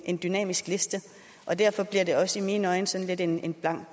en dynamisk liste og derfor bliver det også i mine øjne sådan lidt en